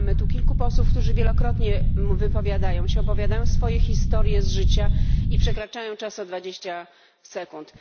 Mamy tu kilku posłów, którzy wielokrotnie wypowiadają się, opowiadają swoje historie z życia i przekraczają czas o 20 sekund.